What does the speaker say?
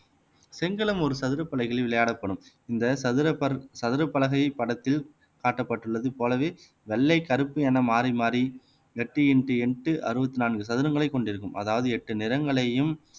செங்களம் ஒரு சதுர பலகையில் விளையாடப்படும் இந்த சதுரபற் சதுரப்பலகை படத்தில் காட்டப்பட்டுள்ளது போலவே வெள்ளை கருப்பு என மாறி மாறி எட்டு இன்டு எட்டு அறுபத்தி நான்கு சதுரங்களை கொண்டிருக்கும் அதாவது எட்டு நிறங்களையும்